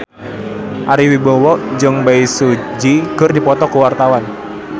Ari Wibowo jeung Bae Su Ji keur dipoto ku wartawan